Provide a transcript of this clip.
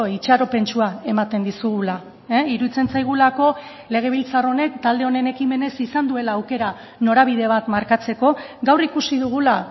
itxaropentsua ematen dizugula iruditzen zaigulako legebiltzar honek talde honen ekimenez izan duela aukera norabide bat markatzeko gaur ikusi dugula